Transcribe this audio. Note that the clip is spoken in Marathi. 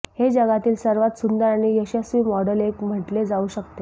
हे जगातील सर्वात सुंदर आणि यशस्वी मॉडेल एक म्हटले जाऊ शकते